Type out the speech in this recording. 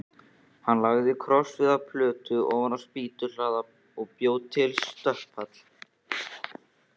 Hann lagði krossviðarplötu ofan á spýtnahlaða og bjó til stökkpall.